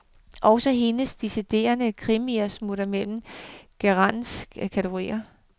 Også hendes deciderede krimier smutter mellem genrens kategorier.